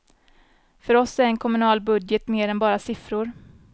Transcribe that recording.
För oss är en kommunal budget mer än bara siffror.